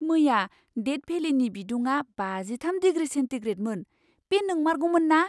मैया डेथ भेलिनि बिदुङा बाजिथाम दिग्रि सेन्टिग्रेडमोन, बे नंमारगौमोन ना!